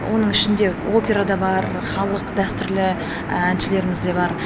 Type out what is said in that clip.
оның ішінде опера да бар халық дәстүрлі әншілеріміз де бар